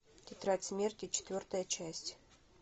тетрадь смерти четвертая часть